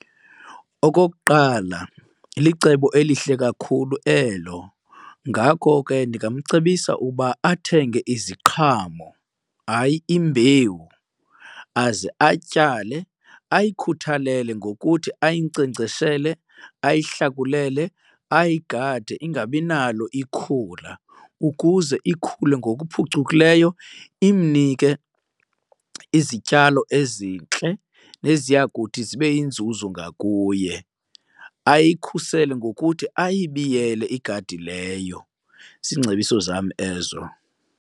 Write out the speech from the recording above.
Okokuqala, licebo elihle kakhulu elo ngako ke ndingamcebisa uba athenge iziqhamo, hayi, imbewu aze atyale. Ayikhuthalele ngokuthi ayinkcenkceshele, ayihlakulele, ayigade ingabi nalo ikhula ukuze ikhule ngokuphucukileyo imnike izityalo ezintle neziya kuthi zibe yinzuzo ngakuye. Ayikhusele ngokuthi ayibiyele igadi leyo. Ziingcebiso zam ezo.